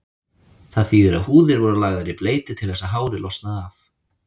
Það þýðir að húðir voru lagðar í bleyti til þess að hárið losnaði af.